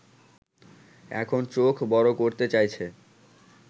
এখন চোখ বড় করতে চাইছে